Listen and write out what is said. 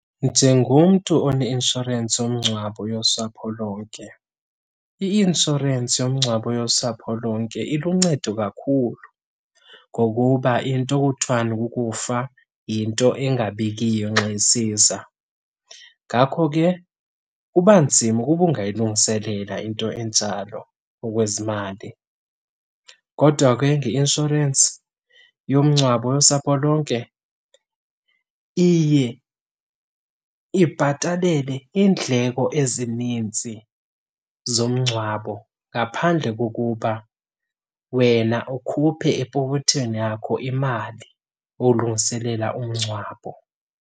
Njengomntu oneinshorensi yomngcwabo yosapho lonke, i-inshorensi yomngcwabo yosapho lonke iluncedo kakhulu ngokuba into okuthiwani kukufa yinto engabikiyo nxa isiza. Ngakho ke kuba nzima ukuba ungayilungiselela into enjalo ngokwezimali kodwa ke ngeinshorensi yomngcwabo yosapho lonke, iye ibhatalele iindleko ezininzi zomngcwabo ngaphandle kokuba wena ukhuphe epokothweni yakho imali ukulungiselela umngcwabo.